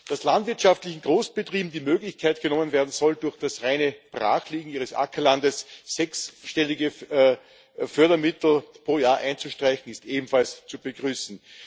Dass landwirtschaftlichen Großbetrieben die Möglichkeit genommen werden soll, durch das reine Brachliegen ihres Ackerlandes sechsstellige Fördermittel pro Jahr einzustreichen, ist ebenfalls zu begrüßen.